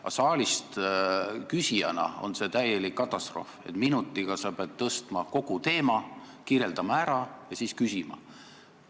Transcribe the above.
Aga saalist küsijana tundub see täieliku katastroofina, minutiga pead tõstma teema, selle ära kirjeldama ja siis küsima.